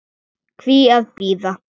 Hví að bíða?